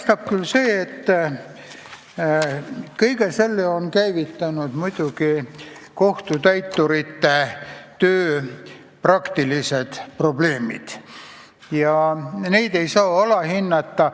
Tundub, et kõige selle on käivitanud kohtutäiturite töö praktilised probleemid, mida ei tohi alahinnata.